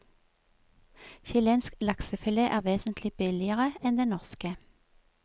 Chilensk laksefilet er vesentlig billigere enn den norske.